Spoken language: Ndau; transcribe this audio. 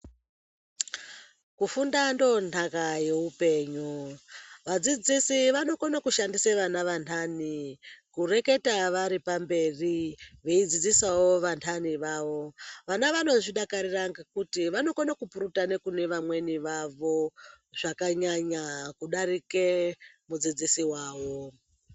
Kufunda ndondhaka yowupenyu. Vadzidzisi vanokone kushandise vana vantane kureketa varipamberi veyidzidzisawo vantane vawo. Vana vanozvidakarira ngekuti vanokone kupurutane kunevamwene vawo zvakanyanya kudarike mudzidzisi wawo.